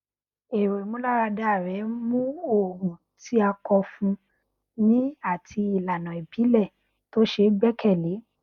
èrò ìmúláradá rẹ mú òògùn tí a kọ fún ni àti ìlànà ìbílẹ tó ṣe gbẹkẹlé